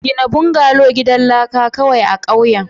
gina bungalow gidan laka kawai a ƙauyen.